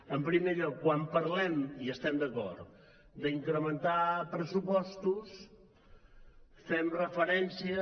en primer lloc quan parlem hi estem d’acord d’incrementar pressupostos fem referència